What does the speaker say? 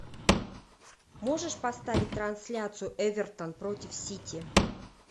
можешь поставить трансляцию эвертон против сити